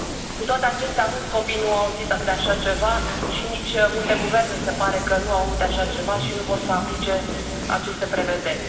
Cu toate acestea, mulți copii nu au auzit de așa ceva și multe guverne se pare că nu aud de așa ceva și nu vor să aplice aceste prevederi.